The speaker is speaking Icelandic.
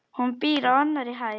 Hún býr á annarri hæð.